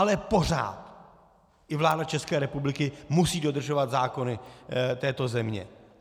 Ale pořád i vláda České republiky musí dodržovat zákony této země.